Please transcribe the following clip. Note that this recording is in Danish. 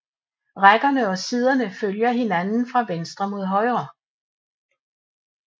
Rækkerne og siderne følger hinanden fra venstre mod højre